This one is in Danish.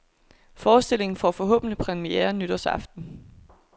Forestillingen får forhåbentligt premiere nytårsaften.